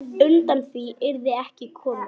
Undan því yrði ekki komist.